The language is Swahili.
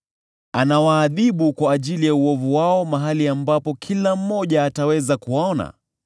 Anawaadhibu kwa ajili ya uovu wao mahali ambapo kila mmoja ataweza kuwaona,